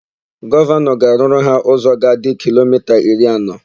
Gọvanọ ga-arụrụ ha ụzọ ga-adị kilomita iri anọ.